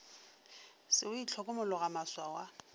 se o itlhokomologa maswao a